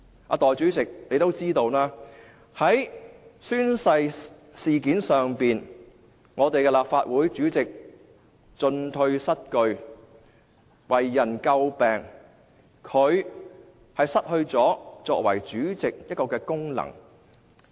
代理主席也知道，在宣誓事件上，立法會主席進退失據，做法為人詬病，他失去了作為主席的功能。